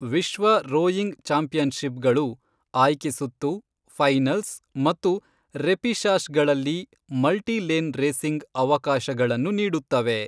ವಿಶ್ವ ರೋಯಿಂಗ್ ಚಾಂಪಿಯನ್ಷಿಪ್ಗಳು ಆಯ್ಕೆ ಸುತ್ತು, ಫೈನಲ್ಸ್ ಮತ್ತು ರೆಪಿಷಾಷ್ ಗಳಲ್ಲಿ ಮಲ್ಟಿ ಲೇನ್ ರೇಸಿಂಗ್ ಅವಕಾಶಗಳನ್ನು ನೀಡುತ್ತವೆ.